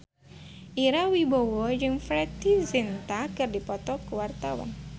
Ira Wibowo jeung Preity Zinta keur dipoto ku wartawan